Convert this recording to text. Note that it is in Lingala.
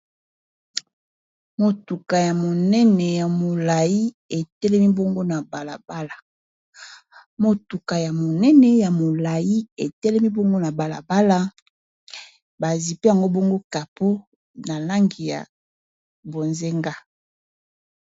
Motuka ya monene ya molayi etelemi bongo na balabala bazipi yango bongo capo na langi ya bozenga.